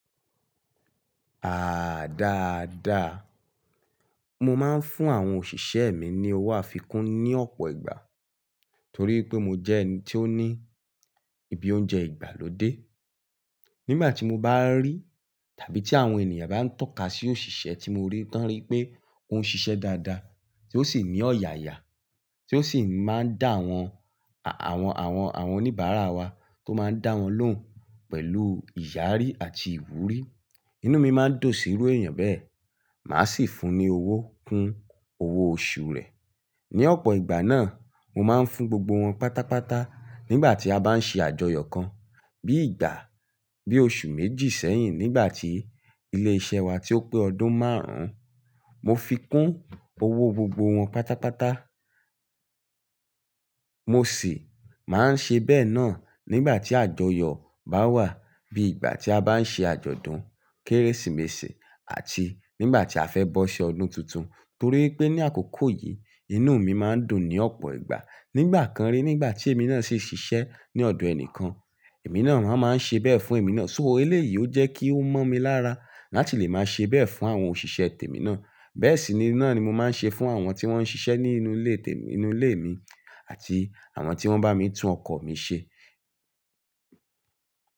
Aaa dáadáa. Mo máa ń fún àwọn òṣìṣẹ́ mi ní owó àfikún ní ọ̀pọ̀ ìgbà torí pé mo jẹ́ ẹni tí ó ní ibi oúnjẹ ìgbàlódé. Nígbà tí mo bá rí tàbí tí àwọn ènìyàn bá ń tọ́ka sí òṣìṣẹ́ tí mo rí tán rí pé ó ń ṣiṣẹ́ dáadáa, tí ó sì ní ọ̀yàyà, tí ó sì máa ń dá àwọn, àwọn, àwọn, àwọn oníbàárà wa tó máa ń dá wọn lóhùn pẹ̀lú ìyàrí àti ìwúrí, inú mi má ń dùn sí irú èèyàn bẹ́ẹ̀. Màá sì fún un ní owó kún owó oṣù rẹ̀. Ni ọ̀pọ̀ ìgbà náà, mo máa ń fún gbogbo wọn pátápátá nígbà tí a bá ń ṣe àjọyọ̀ kan bí ìgbà, bí oṣù méjì sẹ́yìn nígbà tí ilé iṣẹ́ wa tí ó pé ọdún márùn-ún, mo fi kún owó gbogbo wọn pátápátá. Mo sì máa ń ṣe bẹ́ẹ̀ náà nígbà tí àjọyọ̀ bá wà bí ìgbà tí a bá ń ṣe àjọ̀dún Kérésìmesì àti nígbà tí a fẹ́ bọ́ṣi ọdún tuntun. Torí pé ní àkókò yìí, inú mi máa ń dùn ní ọ̀pọ̀ ìgbà. Nígbà kan rí nígbà tí èmi náà ṣe ṣiṣẹ́ ní ọ̀dọ̀ ẹni kan, èmi náà máa ń ṣe bẹ́ẹ̀ fún èmi náà. So ó lé yìí ó jẹ́ kí ó mọ́ mi lára láti lè máa ṣe bẹ́ẹ̀ fún àwọn òṣìṣẹ́ tèmi náà. Bẹ́ẹ̀ sì ni náà ni mo máa ń ṣe fún àwọn tí wọ́n ń ṣiṣẹ́ nínú ilé tèmi, nínú ilé mi àti àwọn tí wọ́n bá mi tún ọkọ̀ mi ṣe.